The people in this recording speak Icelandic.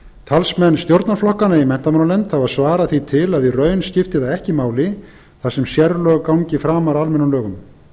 talsmenn stjórnarflokkanna í menntamálanefnd hafa svarað því til að í raun skipti það ekki máli þar sem sérlög gangi framar almennum lögum